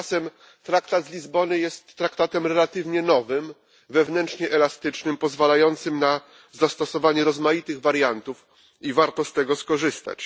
Tymczasem Traktat z Lizbony jest traktatem relatywnie nowym, wewnętrznie elastycznym, pozwalającym na zastosowanie rozmaitych wariantów, i warto z tego skorzystać.